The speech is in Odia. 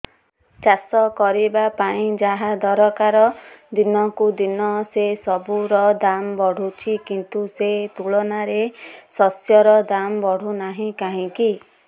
ଚାଷ କରିବା ପାଇଁ ଯାହା ଦରକାର ଦିନକୁ ଦିନ ସେସବୁ ର ଦାମ୍ ବଢୁଛି କିନ୍ତୁ ସେ ତୁଳନାରେ ଶସ୍ୟର ଦାମ୍ ବଢୁନାହିଁ କାହିଁକି